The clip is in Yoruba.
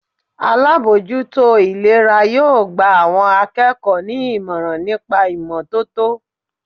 Alábòójútó ìlera yóò gba àwọn akẹ́kọ̀ọ́ ní ìmọ̀ràn nípa ìmọ́tótó.